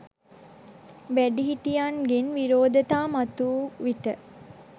වැඩිහිටියන්ගෙන් විරෝධතා මතුවූ විට,